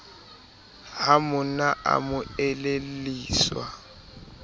ha monna a mo elelliswa